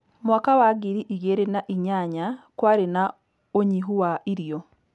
Mwaka wa ngiri igĩrĩ na inyanya kwarĩ na ũnyihu wa irio